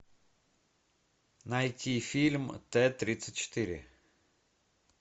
найти фильм т тридцать четыре